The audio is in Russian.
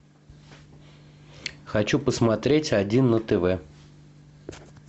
хочу посмотреть один на тв